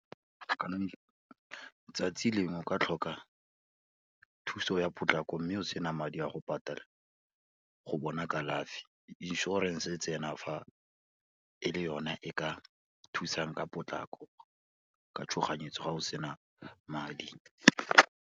Ka letsatsi lengwe o ka tlhoka thuso ya potlako, mme o sena madi a go patala go bona kalafi inšorense e tsena fa, e le yone e ka thusang ka potlako, ka tshoganyetso ga o sena madi.